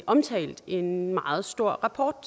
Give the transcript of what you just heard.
omtalt en meget stor rapport